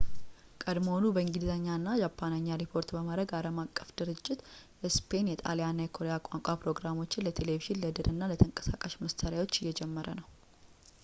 ቀድሞውኑ በእንግሊዝኛ እና በጃፓንኛ ሪፖርት በማድረግ ዓለም አቀፉ ድርጅት የስፔን ፣ የጣሊያን እና የኮሪያ ቋንቋ ፕሮግራሞችን ለቴሌቪዥን ፣ ለድር እና ለተንቀሳቃሽ መሣሪያዎች እየጀመረ ነው